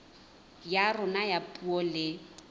ya rona ya puo le